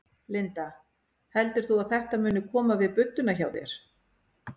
Linda: Heldur þú að þetta muni koma við budduna hjá þér?